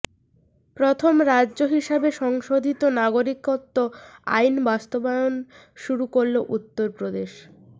প্রথম রাজ্য হিসাবে সংশোধিত নাগরিকত্ব আইন বাস্তবায়ন শুরু করল উত্তরপ্রদেশ